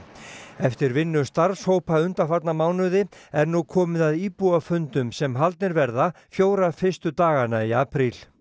eftir vinnu starfshópa undanfarna mánuði er nú komið að íbúafundum sem haldnir verða fjóra fyrstu dagana í apríl